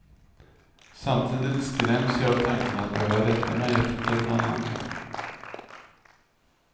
Samtidigt skräms jag av tanken att behöva rätta mig efter någon annan.